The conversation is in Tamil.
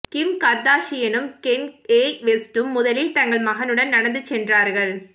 கிம் கர்தாஷியனும் கென்யே வெஸ்டும் முதலில் தங்கள் மகனுடன் நடந்து சென்றார்கள்